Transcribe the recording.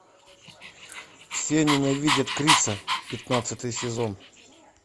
все ненавидят криса пятнадцатый сезон